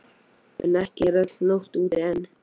En ekki er öll nótt úti enn.